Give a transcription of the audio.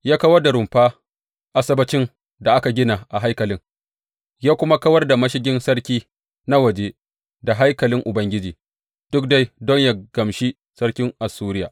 Ya kawar da rumfa Asabbacin da aka gina a haikalin, ya kuma kawar da mashigin sarki na waje da haikalin Ubangiji, duk dai don yă gamshi sarkin Assuriya.